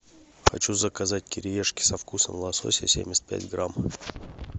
хочу заказать кириешки со вкусом лосося семьдесят пять грамм